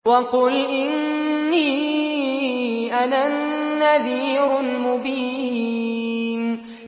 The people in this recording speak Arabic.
وَقُلْ إِنِّي أَنَا النَّذِيرُ الْمُبِينُ